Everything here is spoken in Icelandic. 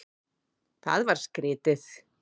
Það var skrítið.